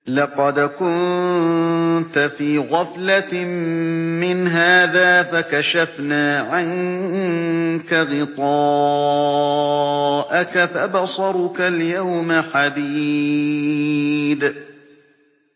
لَّقَدْ كُنتَ فِي غَفْلَةٍ مِّنْ هَٰذَا فَكَشَفْنَا عَنكَ غِطَاءَكَ فَبَصَرُكَ الْيَوْمَ حَدِيدٌ